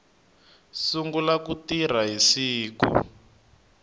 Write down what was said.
sungula ku tirha hi siku